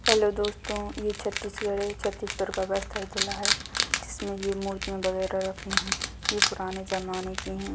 Hello दोस्तों ये छत्तीसगढ़ है छत्तीसगढ़ का बस्तर जिला है जिसमे ये मुर्तिया वगेरा रखी हुई ये पुराने ज़माने की है।